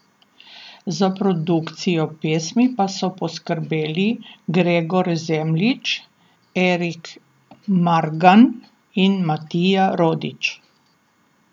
Za produkcijo pesmi pa so poskrbeli Gregor Zemljič, Erik Margan in Matija Rodić.